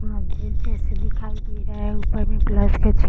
नारियल जैसे दिखाई दे रहा है ऊपर में प्लस का चिन्ह --